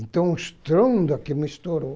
Então o estrondo aqui me estourou.